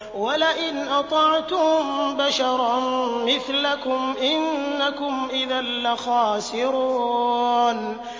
وَلَئِنْ أَطَعْتُم بَشَرًا مِّثْلَكُمْ إِنَّكُمْ إِذًا لَّخَاسِرُونَ